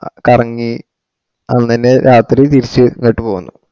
കറങ്ങി അന്നന്നെ രാത്രി തിരിച് ഇങ്ട്ട് പോവോന്ന്